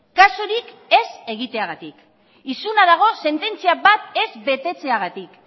kasurik ez egiteagatik isuna dago sententzia bat ez betetzeagatik